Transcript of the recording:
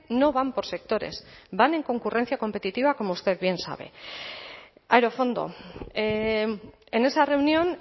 no van por sectores van en concurrencia competitiva como usted bien sabe aerofondo en esa reunión